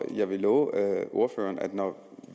jeg vil love ordføreren at når